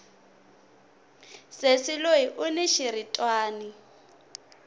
sesi loyi uni xiritwani